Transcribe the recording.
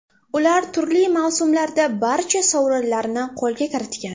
Ular turli mavsumlarda barcha sovrinlarni qo‘lga kiritgan.